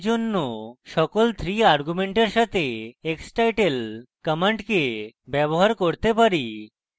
for জন্য আমরা সকল 3 arguments সাথে xtitle command ব্যবহার করতে পারি